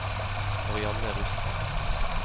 Karianne Rusten